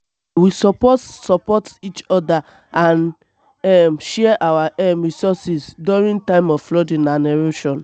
um we suppose support each other and um share our um resources during times of flooding and erosion.